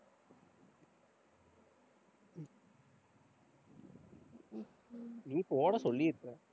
நீ போட சொல்லியிருப்ப